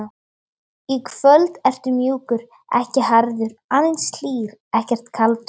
Í kvöld ertu mjúkur, ekki harður, aðeins hlýr, ekkert kaldur.